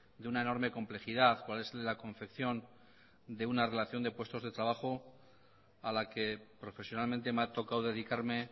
de una enorme complejidad cuál es la confección de una relación de puestos de trabajo a la que profesionalmente me ha tocado dedicarme